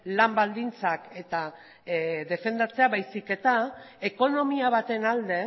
lan baldintzak defendatzea baizik eta ekonomia baten alde